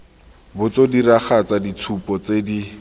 botso diragatsa ditshupo tse di